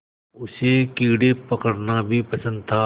उसे कीड़े पकड़ना भी पसंद था